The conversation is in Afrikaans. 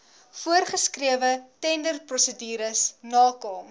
voorsgeskrewe tenderprosedures nakom